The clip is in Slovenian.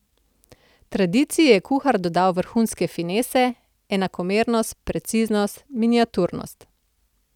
Tradiciji je kuhar dodal vrhunske finese, enakomernost, preciznost, miniaturnost.